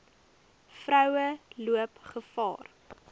vroue loop gevaar